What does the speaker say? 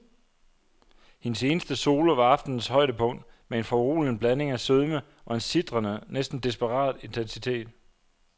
Hendes eneste solo var aftenens højdepunkt med en foruroligende blanding af sødme og en sitrende, næsten desperat intensitet.